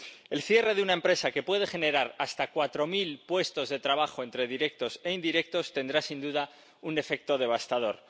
El cierre de una empresa que puede generar hasta cuatro mil puestos de trabajo entre directos e indirectos tendrá, sin duda, un efecto devastador.